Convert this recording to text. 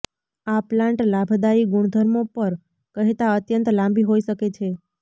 આ પ્લાન્ટ લાભદાયી ગુણધર્મો પર કહેતાં અત્યંત લાંબી હોઇ શકે છે